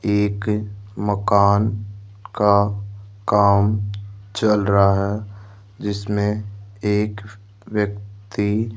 एक मकान का काम चल रहा है जिसमें एक व्यक्ति --